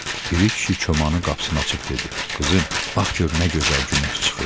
Piri kişi komanın qapısını açıb dedi: “Qızım, bax gör nə gözəl günəş çıxıb!”